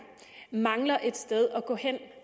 mangler et sted at gå hen